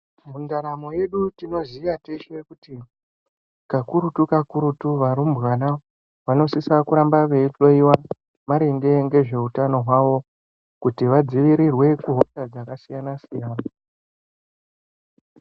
Mundaramo yedu tinoziya teshe kuti kakurutu kakurutu varumbwana vanosisa kuramba veihloyiwa maringe ngezveutano hwawo kuti vadzivirirwe kuhosha dzakasiyana siyana.